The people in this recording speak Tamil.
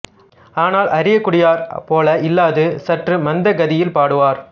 ஆனால் அரியக்குடியார் போல இல்லாது சற்று மந்த கதியில் பாடுவார்